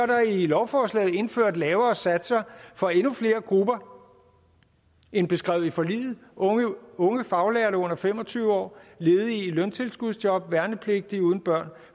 der i lovforslaget indført lavere satser for endnu flere grupper end beskrevet i forliget unge ufaglærte under fem og tyve år ledige i løntilskudsjob og værnepligtige uden børn